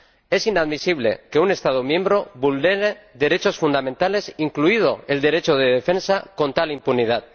Es inadmisible que un Estado miembro vulnere derechos fundamentales, incluido el derecho de defensa, con tal impunidad.